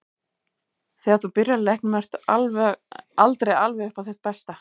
Þegar þú byrjar í leiknum ertu aldrei alveg upp á þitt besta.